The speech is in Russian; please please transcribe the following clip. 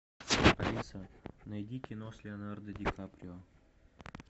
алиса найди кино с леонардо ди каприо